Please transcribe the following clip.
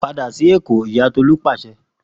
Pada si Eko Iya Tolu pase